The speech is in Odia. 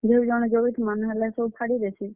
ଯେ ହଉ ଜଣେ ଜଗିଥିମା ନାହେଲେ ହେ ସବୁ ଫାଡି ଦେସି।